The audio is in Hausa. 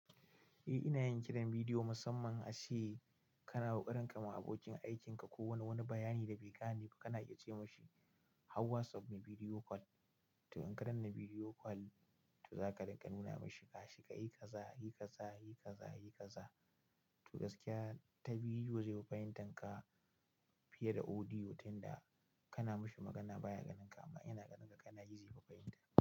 Eh ina yin kiran bidiyo musamman ashe kana waƙaranka ma abokin aikinka ko wani bayani da bai gane ba kana iya ce ma shi hau WhatsApp muyi bidiyo call to in ka danna bidiyo call to zaka dinga nuna mashi gashe kai kaza, yi kaza, yi kaza, yi kaza. To gaskiya ta bidiyo zai fi fahimtan ka fiye da audio tun da kana ma shi magana ba ya ganinka amma yana ganinka kana yi zai fi fahimta.